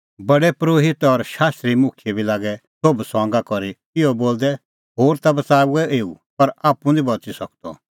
प्रधान परोहित और शास्त्री मुखियै बी लागै सोभ ठठअ करी इहअ बोलदै होर ता बच़ाऊऐ एऊ पर आप्पू निं बच़ी सकअ